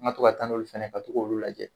An ga to ka taa n'olu fɛnɛ ye ka to g'olu lajɛ